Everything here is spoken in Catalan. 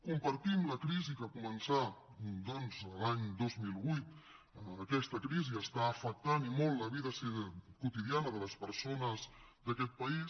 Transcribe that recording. compartim la crisi que començà doncs l’any dos mil vuit aquesta crisi afecta i molt la vida quotidiana de les persones d’aquest país